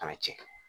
Kana cɛ